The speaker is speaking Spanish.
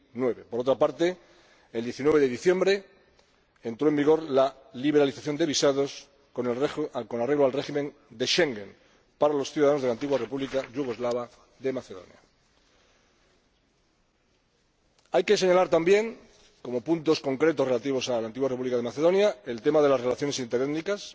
2009. Por otra parte, el 19 de diciembre entró en vigor la liberalización de visados con arreglo al régimen de Schengen para los ciudadanos de la Antigua República Yugoslava de Macedonia. Hay que señalar también, como puntos concretos relativos a la Antigua República Yugoslava de Macedonia, el tema de las relaciones interétnicas,